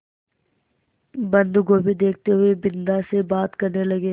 बन्दगोभी देखते हुए बिन्दा से बात करने लगे